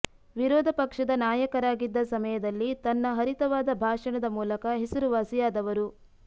ವಿರೋಧ ಪಕ್ಷದ ನಾಯಕರಾಗಿದ್ದ ಸಮಯದಲ್ಲಿ ತನ್ನ ಹರಿತವಾದ ಭಾಷಣದ ಮೂಲಕ ಹೆಸರುವಾಸಿಯಾದವರು